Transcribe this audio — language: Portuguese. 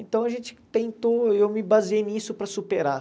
Então a gente tentou, eu me baseei nisso para superar.